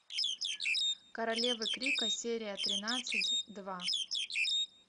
королевы крика серия тринадцать два